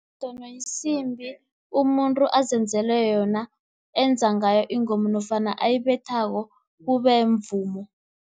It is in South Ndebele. yisimbi umuntu azenzele yona, enza ngayo ingoma nofana ayibethako kube mvumo.